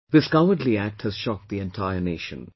This cowardly act has shocked the entire Nation